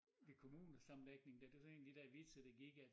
Da kommunesammenlægningen dér det var så en af de dér vitser der gik at